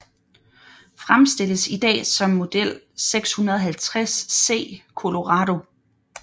Fremstilles i dag som Model 650C Colorado